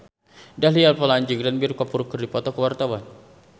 Dahlia Poland jeung Ranbir Kapoor keur dipoto ku wartawan